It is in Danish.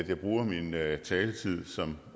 jeg bruger min taletid som